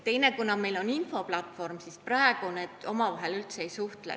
Ja meil on ka infoplatvormid, mis praegu omavahel üldse ei suhtle.